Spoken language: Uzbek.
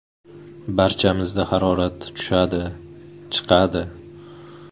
Barchamizda harorat tushadi, chiqadi.